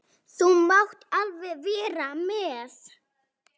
Þú mátt alveg vera með.